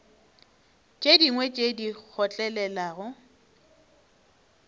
tše dingwe tše di kgotlelelago